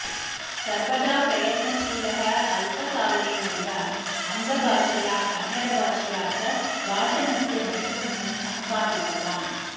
सर्वदा प्रयत्नशीलः अल्पकालेनैव अङ्गभाषया कन्नडाभाषया च भाषणस्य नैपुण्यं सम्पादितवान्